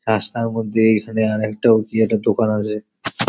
রাস্তার মধ্যে এখানে আরেকটাও কি একটা দোকান আছে |